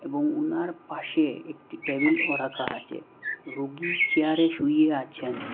এবং ওনার পাশে একটি টেবিলও রাখা আছে রুগী চেয়ারে শুয়ে আছেন।